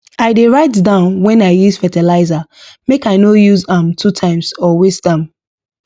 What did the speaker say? i dey write down when i use fertilizer make i no use am two times or waste am